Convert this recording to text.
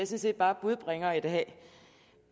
set bare budbringer i dag jeg